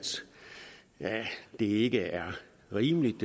det ikke er rimeligt